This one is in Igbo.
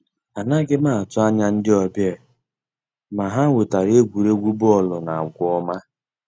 Ànàghị́ m àtụ́ ànyá ndí ọ́bị̀à, mà ha wètàra ègwùrègwù bọ́ọ̀lụ́ na àgwà ọ́ma.